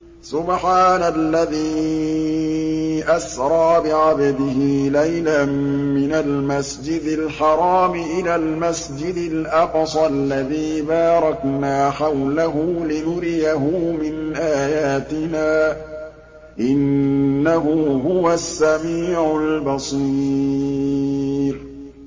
سُبْحَانَ الَّذِي أَسْرَىٰ بِعَبْدِهِ لَيْلًا مِّنَ الْمَسْجِدِ الْحَرَامِ إِلَى الْمَسْجِدِ الْأَقْصَى الَّذِي بَارَكْنَا حَوْلَهُ لِنُرِيَهُ مِنْ آيَاتِنَا ۚ إِنَّهُ هُوَ السَّمِيعُ الْبَصِيرُ